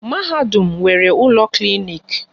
Mahadum nwere ụlọ klinik